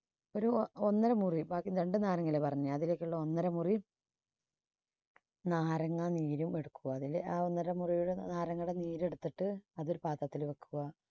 ഒരു ഒ~ഒന്നര മുറി ബാക്കി രണ്ടു നാരങ്ങ അല്ലെ പറഞ്ഞത് അതിലേക്കുള്ള ഒന്നര മുറി നാരങ്ങാ നീരും എടുക്കുക. ആ ഒന്നര മുറി നാരങ്ങയുടെ നീര് എടുത്തിട്ട് അത് ഒരു പാത്രത്തിൽ വെക്കുക.